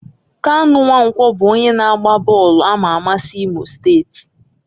Kanu Nwankwo bụ onye na-agba bọọlụ ama ama si Imo steeti.